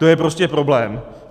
To je prostě problém.